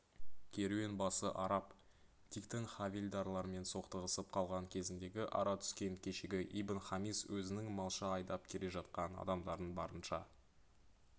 керуенбасы араб диктің хавильдарлармен соқтығысып қалған кезіндегі ара түскен кешегі ибн-хамис өзінің малша айдап келе жатқан адамдарын барынша